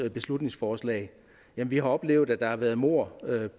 beslutningsforslag vi har oplevet at der har været mord